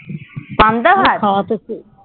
পান্তা ভাত